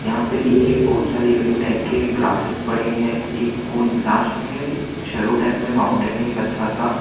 यहा पे नीचे बहोत सारी यूनिक टाइप के ग्रासेस पड़े हैं एक कोन लास्ट में है एलो टाइप मे एक माउंटेन है अच्छा सा --